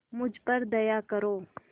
मुझ पर दया करो